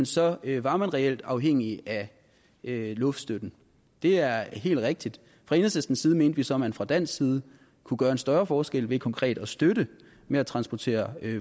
så var man reelt afhængige af luftstøtten det er helt rigtigt fra enhedslistens side mente vi så at man fra dansk side kunne gøre en større forskel ved konkret at støtte med at transportere